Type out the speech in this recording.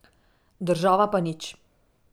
Država pa nič.